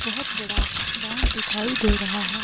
बहुत बड़ा ग्राउंड दिखाई दे रहा है।